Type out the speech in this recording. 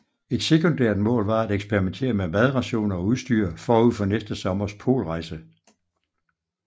Et sekundært mål var at eksperimentere med madrationer og udstyr forud for næste sommers polrejse